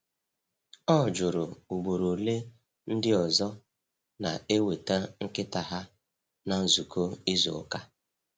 O jụrụ ugboro ole ndị ọzọ na-eweta nkịta ha na nzukọ izu ụka.